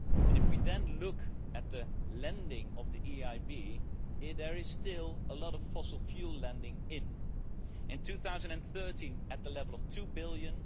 If we then look at the lending of the EIB, there is still a lot of fossil fuel lending in 2013, at the level of EUR 2 billion